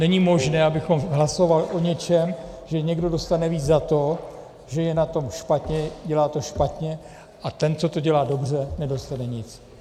Není možné, abychom hlasovali o něčem, že někdo dostane víc za to, že je na tom špatně, dělá to špatně, a ten, co to dělá dobře, nedostane nic.